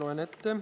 Kohe loen ette.